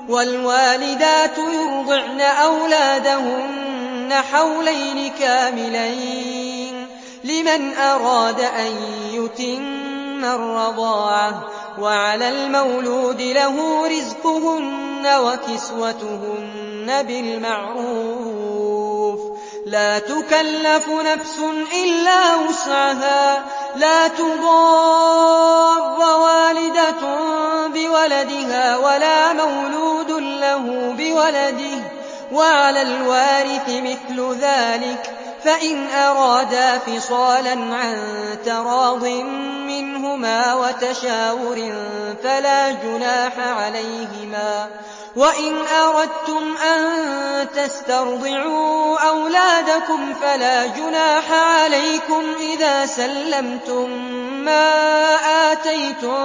۞ وَالْوَالِدَاتُ يُرْضِعْنَ أَوْلَادَهُنَّ حَوْلَيْنِ كَامِلَيْنِ ۖ لِمَنْ أَرَادَ أَن يُتِمَّ الرَّضَاعَةَ ۚ وَعَلَى الْمَوْلُودِ لَهُ رِزْقُهُنَّ وَكِسْوَتُهُنَّ بِالْمَعْرُوفِ ۚ لَا تُكَلَّفُ نَفْسٌ إِلَّا وُسْعَهَا ۚ لَا تُضَارَّ وَالِدَةٌ بِوَلَدِهَا وَلَا مَوْلُودٌ لَّهُ بِوَلَدِهِ ۚ وَعَلَى الْوَارِثِ مِثْلُ ذَٰلِكَ ۗ فَإِنْ أَرَادَا فِصَالًا عَن تَرَاضٍ مِّنْهُمَا وَتَشَاوُرٍ فَلَا جُنَاحَ عَلَيْهِمَا ۗ وَإِنْ أَرَدتُّمْ أَن تَسْتَرْضِعُوا أَوْلَادَكُمْ فَلَا جُنَاحَ عَلَيْكُمْ إِذَا سَلَّمْتُم مَّا آتَيْتُم